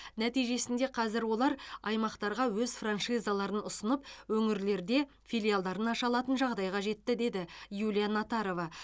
нәтижесінде қазір олар аймақтарға өз франшизаларын ұсынып өңірлерде филиалдарын аша алатын жағдайға жетті деді юлия натарова